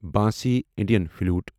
bansi Indian flute